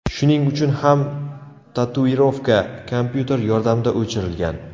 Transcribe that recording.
Shuning uchun ham tatuirovka kompyuter yordamida o‘chirilgan.